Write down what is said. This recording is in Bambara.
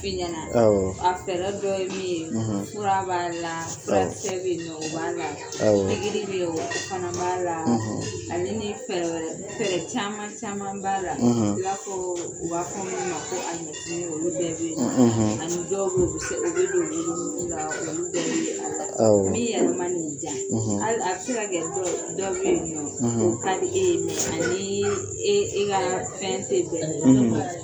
I ɲana awɔ a fɛrɛ dɔ ye min ye fura b'ala awɔ fura kisɛ bɛ yen nɔ o b'a la pikiri bɛ ye o fana b'a la ale ni fɛrɛ wɛrɛ fɛrɛ caman caman b'a la ina fɔ u b'a f ɔ min ma ko alimɛtini olu bɛ bɛ ye ani dɔw bɛ sɛbɛ o bɛ don worobu la olu bɛɛ bɛ a la min yɛrɛ man'i diya hali a bɛ se kɛ dɔ dɔ bɛ yen nɔ o ka di e ye mɛ a nii e e ka fɛn tɛ bɛn